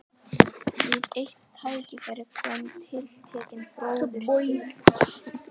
Við eitt tækifæri kom tiltekinn bróðir til